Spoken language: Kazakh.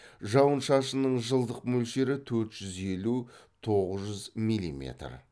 жауын шашынның жылдық мөлшері төрт жүз елу тоғыз жүз милиметр